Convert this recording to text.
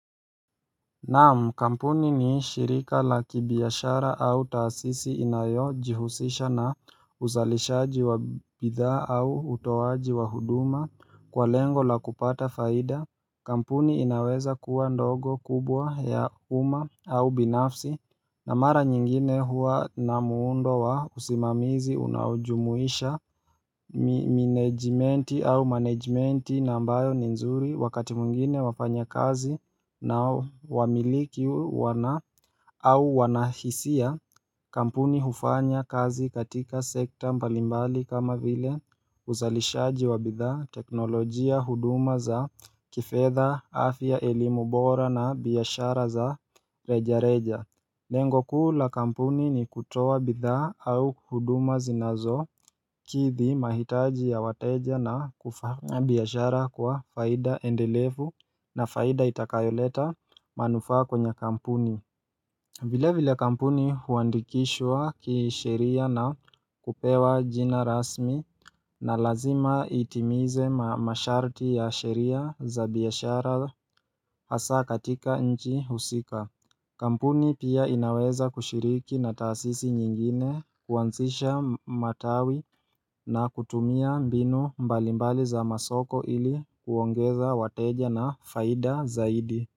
Naam kampuni ni shirika la kibiashara au taasisi inayojihusisha na uzalishaji wa bidhaa au utowaji wa huduma kwa lengo la kupata faida. Kampuni inaweza kuwa ndogo kubwa ya umma au binafsi na mara nyingine huwa na muundo wa usimamizi unaojumuisha Minejmenti au manejmenti na ambayo ni nzuri wakati mwingine wafanyakazi na wamiliki wana au wanahisia Kampuni hufanya kazi katika sekta mbalimbali kama vile uzalishaji wa bidhaa teknolojia huduma za kifedha afya elimu bora na biashara za reja reja Lengo kuu la kampuni ni kutoa bidhaa au huduma zinazokithi mahitaji ya wateja na kufanya biashara kwa faida endelevu na faida itakayoleta manufaa kwenye kampuni vile vile kampuni huandikishwa kisheria na kupewa jina rasmi na lazima itimize masharti ya sheria za biashara hasaa katika nchi husika Kampuni pia inaweza kushiriki na taasisi nyingine kuanzisha matawi na kutumia mbinu mbalimbali za masoko ili kuongeza wateja na faida zaidi.